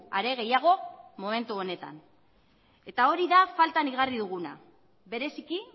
are gehiago momentu honetan eta hori da faltan igarri duguna bereziki